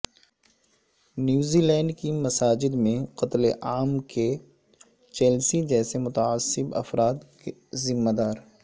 New Zealand کی مساجد میں قتل عام کے چیلسی جیسے متعصب افراد ذمہ دار